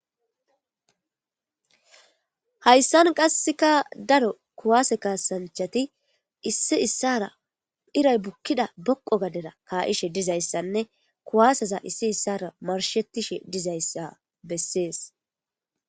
Hayssan qasseka daro kuwaase kaasanchati issi issara iray bukkida boqo gadera kaa7ishe dizayssanne kuwaasaza issi issara marshettishe dizayssa bessees.